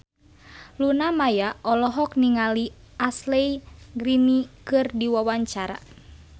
Luna Maya olohok ningali Ashley Greene keur diwawancara